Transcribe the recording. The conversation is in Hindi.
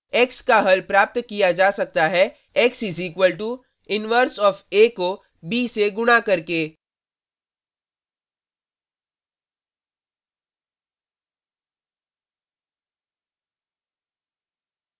x का हल प्राप्त किया जा सकता है x = inv inverse of a को b से गुणा करके